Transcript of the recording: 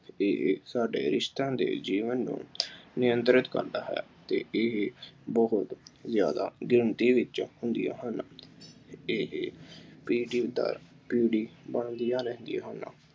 ਇਹ ਸਾਡੇ ਰਿਸ਼ਤਿਆਂ ਦੇ ਜੀਵਨ ਨੂੰ ਨਿਯੰਤਰਿਤ ਕਰਦਾ ਹੈ ਅਤੇ ਇਹ ਬਹੁਤ ਜ਼ਿਆਦਾ ਗਿਣਤੀ ਵਿੱਚ ਹੁੰਦੀਆਂ ਹਨ। ਇਹ ਪੀੜੀ ਦਰ ਪੀੜੀ ਪਲਦੀਆਂ ਰਹਿੰਦੀਆਂ ਹਨ।